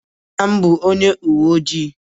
Nna m bụ ọnye uwe ojị